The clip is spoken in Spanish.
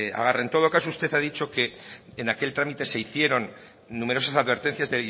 agarra en todo caso usted ha dicho que en aquel trámite se hicieron numerosas advertencias